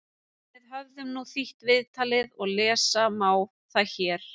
Við höfum nú þýtt viðtalið og lesa má það hér: